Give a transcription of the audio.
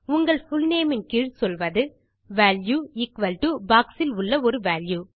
உங்கள் புல்நேம் இன் கீழ் சொல்வது வால்யூ எக்குவல் டோ பாக்ஸ் இல் உள்ள ஒரு வால்யூ